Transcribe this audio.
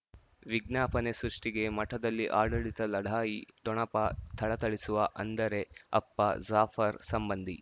ವಿಜ್ಞಾಪನೆ ಸೃಷ್ಟಿಗೆ ಮಠದಲ್ಲಿ ಆಡಳಿತ ಲಢಾಯಿ ಠೊಣಪ ಥಳಥಳಿಸುವ ಅಂದರೆ ಅಪ್ಪ ಜಾಫರ್ ಸಂಬಂಧಿ